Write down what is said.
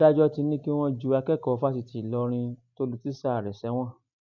adájọ ti ní kí wọn ju akẹkọọ fásitì ìlọrin tó lu tíṣà rẹ sẹwọn